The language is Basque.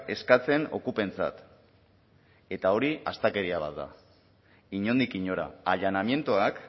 eskatzen okupentzat eta hori astakeria bat da inondik inora allanamientoak